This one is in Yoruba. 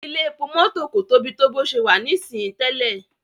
Ilé-epo mọ́tò kò Tobi to bó ṣe wá ní sìn tẹlẹ.